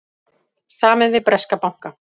Samið við breska banka